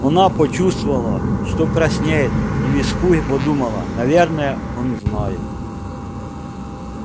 она почувствовала что краснеет и в испуге подумала наверное он знает